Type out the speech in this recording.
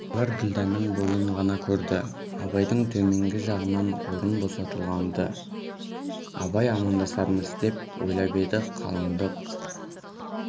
абайлар ділдәнің бойын ғана көрді абайдың төменгі жағынан орын босатылған-ды абай амандасармыз деп ойлап еді қалындық